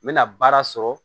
N bɛna baara sɔrɔ